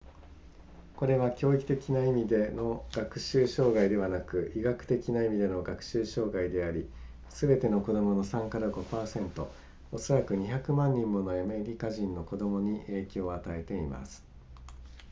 これは教育的な意味での学習障害ではなく医学的な意味での学習障害でありすべての子供の 3～5% おそらく200万人ものアメリカ人の子供に影響を与えています